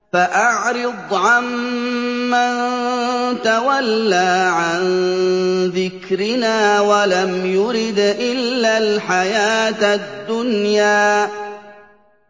فَأَعْرِضْ عَن مَّن تَوَلَّىٰ عَن ذِكْرِنَا وَلَمْ يُرِدْ إِلَّا الْحَيَاةَ الدُّنْيَا